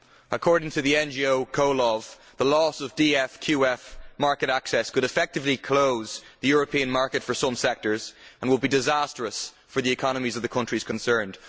According to the NGO Comhlamh the loss of DFQF market access could effectively close the European market for some sectors and will be disastrous for the economies of the countries concerned.